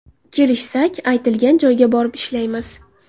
Kelishsak aytilgan joyga borib ishlaymiz.